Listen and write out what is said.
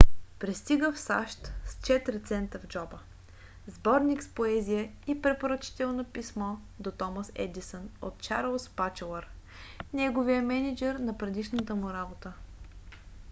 пристига в сащ с 4 цента в джоба сборник с поезия и препоръчително писмо до томас едисън от чарлз батчелър неговия мениджър на предишната му работа